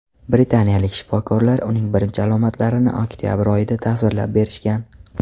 Britaniyalik shifokorlar uning birinchi alomatlarini oktabr oyida tasvirlab berishgan.